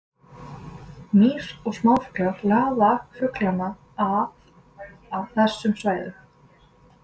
Mýs og smáfuglar laða fuglana að að þessum svæðum.